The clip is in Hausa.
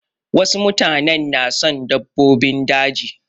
Wasu mutanen na son dabbobin daji.